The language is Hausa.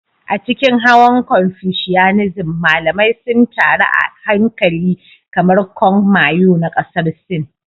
A cikin hawan Confucianism, malamai sun taru a haikali kamar Kong Miao na Ƙasar Sin.